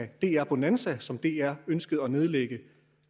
dr bonanza som dr ønskede at nedlægge